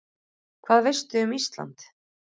Hvað veistu um Ísland?